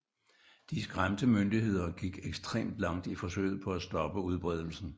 De skræmte myndigheder gik ekstremt langt i forsøget på at stoppe udbredelsen